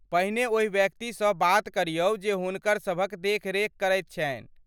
पहिने ओहि व्यक्तिसँ बात करियौ जे हुनकर सभक देखरेख करैत छन्हि।